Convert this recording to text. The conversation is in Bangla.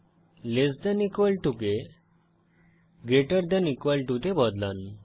লেস দেন ইকুয়াল টু কে গ্রেটার দেন ইকুয়াল টু তে বদলান